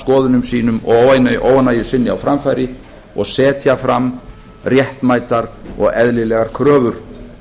skoðunum sínum og óánægju sinni á framfæri og setja fram réttmætar og eðlilegar kröfur